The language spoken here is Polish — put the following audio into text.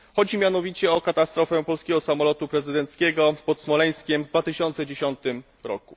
Chodzi mianowicie o katastrofę polskiego samolotu prezydenckiego pod Smoleńskiem w 2010 r.